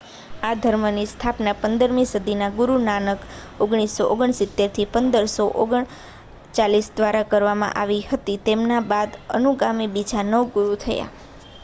આ ધર્મની સ્થાપના 15મી સદીમાં ગુરુ નાનક 1469-1539 દ્વારા કરવામાં આવી હતી. તેમના બાદ અનુગામી બીજા નવ ગુરુ થયા